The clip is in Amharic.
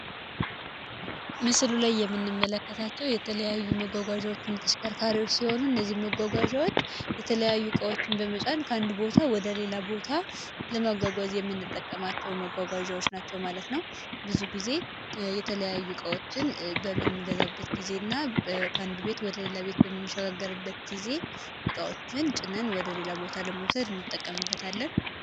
ምስሉ ላይ የምንመለከታቸው የተለያዩ መጓጓዣዎች እና ተሽከርካሪዎች ሲሆኑ እነዚህ መጓጓዣዎች የተለያዩ እቃዎችን በመጫን ከአንድ ቦታ ወደ ሌላ ቦታ ለመጓጓዝ የምንጠቀማቸው መጓጓዣዎች ናቸው ማለት ነው ብዙ ጊዜ የተለያዩ እቃዎችን በምንገዛበት ጊዜ እና ከአንድ ቤት ወደ ሌላ ቤት በምንሻጋገርበት ጊዜ ዕቃዎችን ጭነን ወደ ሌላ ቦታ ለመውሰድ ይንጠቀምበትለን።